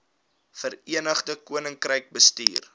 verenigde koninkryk bestuur